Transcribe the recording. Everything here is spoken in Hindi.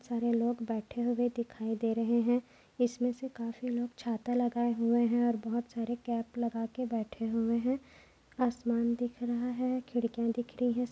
सारे लोग बैठे हुये दिखाई दे रहे है। इसमे से काफी लोग छाता लगाये हुये है और बहुत सारे कॅप लगाके बैठे हुये है। आसमान दिख रहा है। खिडकीया दिख रही है।